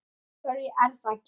Af hverju er það gert?